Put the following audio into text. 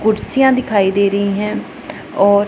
कुर्सियां दिखाई दे रही हैं और--